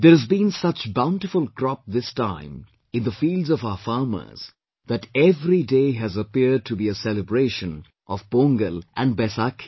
There has been such bountiful crop this time in the fields of our farmers that every day has appeared to be a celebration of Pongal and Baisakhi